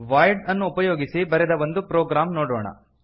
void ಅನ್ನು ಉಪಯೋಗಿಸಿ ಬರೆದ ಒಂದು ಪ್ರೊಗ್ರಾಮ್ ನೋಡೋಣ